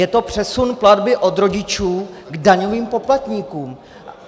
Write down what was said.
Je to přesun platby od rodičů k daňovým poplatníkům.